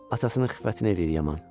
Atasının xiffətini eləyir yaman.